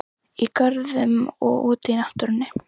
Í görðum og úti í náttúrunni.